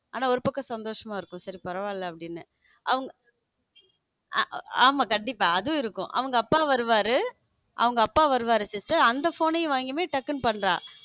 ஆனா ஒரு பக்கம் சந்தோஷமா இருக்கும் சரி பரவால்ல அப்படின்ன அவங்க ஆமா கண்டிப்பா அதுவும் இருக்கும் அவங்க அப்பா வருவாரு அவங்க அப்பா வருவாரு sister அந்த phone யும் வாங்கி டக்குனு பண்றான்.